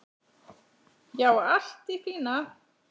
Já, allt í fína.